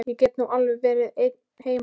Ég get nú alveg verið ein mamma.